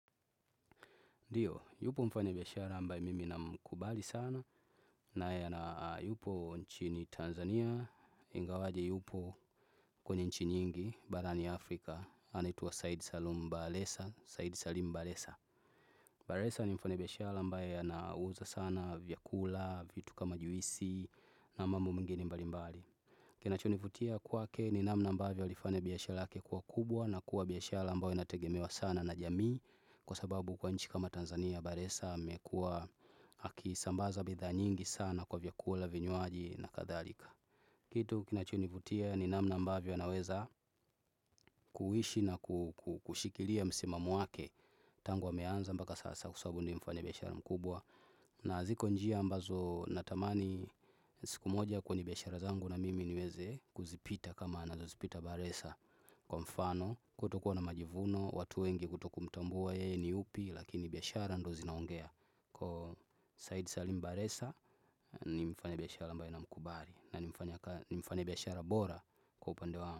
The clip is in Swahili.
Ndiyo, yupo mfanyabiashara ambaye mimi ninamkubali sana, na yupo nchini Tanzania, ingawaje yupo kwenye nchi nyingi, barani Afrika, anaitwa saidi Salim bakheresa. Bakheresa ni mfanyabiashara ambaye ya nauza sana, vyakula, vitu kama juisi, na mambo mengine mbali mbali. Kinacho nivutia kwake ni namna ambavyo aliifanya biashara yake kuwa kubwa na kuwa biashara ambayo inategemewa sana na jamii Kwa sababu kwa nchi kama Tanzania bakheresa amekua akisambaza bidhaa nyingi sana kwa vyakula vinywaji na kadharika Kitu kina chonivutia ni namna ambavyo anaweza kuishi na kushikilia msimamo wake tangu ameanza mpaka sasa kwasababu ni mfanyabiashara mkubwa na ziko njia ambazo natamani siku moja kwenye biashara zangu na mimi niweze kuzipita kama anazo zipita bakhresa Kwa mfano kutokuwa na majivuno, watu wengi kutokumtambua yeye ni yupi lakini biashara ndiyo zinaongea Kwahiyo Said Salim bakheresa ni mfanyabiashara ambaye na mkubali na nimfanyabiashara bora kwa upande wangu.